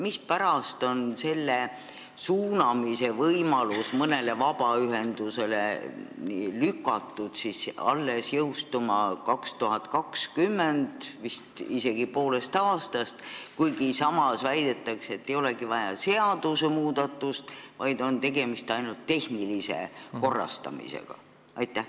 Mispärast on selle suunamise võimalus mõnele vabaühendusele lükatud alles aastasse 2020, vist isegi poolest aastast, kuigi samas väidetakse, et ei olegi vaja seadusmuudatust, vaid tegemist on ainult tehnilise korrastamisega?